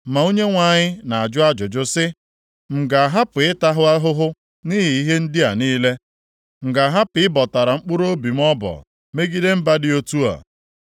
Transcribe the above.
Ma Onyenwe anyị na-ajụ ajụjụ sị, m ga-ahapụ ịta ha ahụhụ nʼihi ihe ndị a niile? M ga-ahapụ ịbọtara mkpụrụobi m ọbọ megide mba dị otu a?”